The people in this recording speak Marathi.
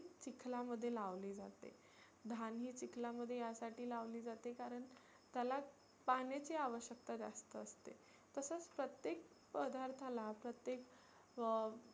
चिखला मध्ये लावली जाते. धान हे चिखलामध्ये लावली जाते कारण त्याला पाण्याची आवश्यकता जास्त असते. तसच प्रत्येक पदार्थाला प्रत्येक अं